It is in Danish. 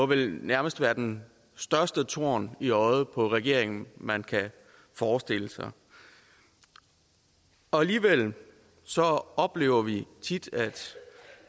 vel nærmest være den største torn i øjet på regeringen man kan forestille sig alligevel oplever vi tit at